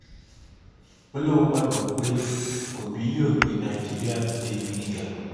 ó lóun gbàgbọ́ pé òbí yóò gbé nàìjíríà dé ibi gíga